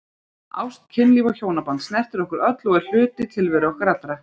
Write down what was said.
Ást, kynlíf og hjónaband snertir okkur öll og er hluti tilveru okkar allra.